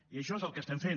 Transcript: i això és el que estem fent